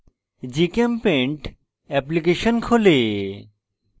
gchempaint application খোলে